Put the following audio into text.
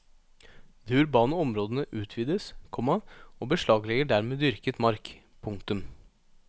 De urbane områdene utvides, komma og beslaglegger dermed dyrket mark. punktum